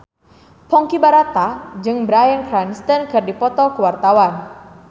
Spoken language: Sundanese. Ponky Brata jeung Bryan Cranston keur dipoto ku wartawan